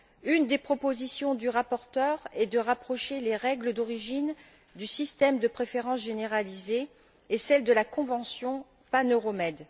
Une des propositions du rapporteur est de rapprocher les règles d'origine du système de préférence généralisée et celles de la convention pan euro med.